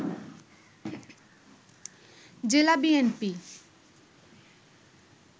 জেলা বিএনপি